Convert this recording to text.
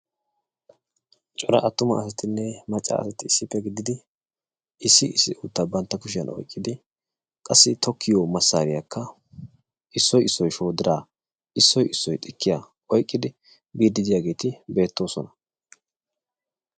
Cora attuma asatinne macca asati issippe gididi issi issi uuttaa banttaa kushshiyan oyqqidi qassi tokkiyo masaariyakka issoy issoy shoddiraa, issoy issoy xikkiya oyqqidi biidi de'iyageeti beettoosona.